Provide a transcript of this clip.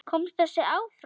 Komst þessi áfram?